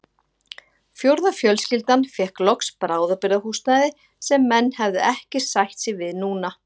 Fjórða fjölskyldan fékk loks bráðabirgðahúsnæði sem menn hefðu ekki sætt sig við núna.